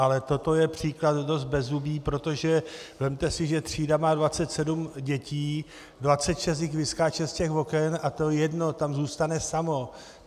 Ale toto je příklad dost bezzubý, protože vezměte si, že třída má 27 dětí, 26 jich vyskáče z těch oken a to jedno tam zůstane samo.